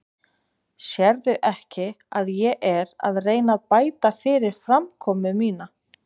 Sérðu ekki að ég er að reyna að bæta fyrir framkomu mína?